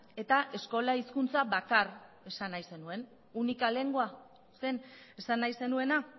eta eskola hizkuntza bakar esan nahi zenuen única lengua zen esan nahi zenuena